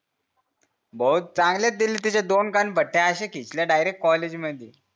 भाऊ चांगल्याच दिल्या तिच्या दोन कानफट्या अश्या खिचल्या डायरेक्ट कॉलेजमधी